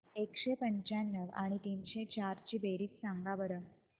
एकशे पंच्याण्णव आणि तीनशे चार ची बेरीज सांगा बरं